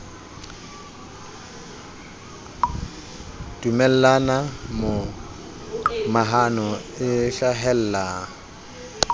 dumellana mo mahano e hlahella